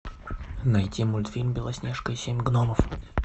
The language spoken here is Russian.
найти мультфильм белоснежка и семь гномов